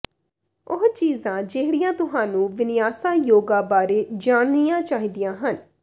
ਉਹ ਚੀਜ਼ਾਂ ਜਿਹੜੀਆਂ ਤੁਹਾਨੂੰ ਵਿਨਿਆਸਾ ਯੋਗਾ ਬਾਰੇ ਜਾਣਨੀਆਂ ਚਾਹੀਦੀਆਂ ਹਨ